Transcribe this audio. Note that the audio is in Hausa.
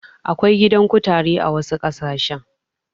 Akwai gidan kutare a wasu ƙasashen.